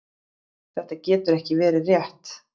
Þetta getur ekki verið rétt.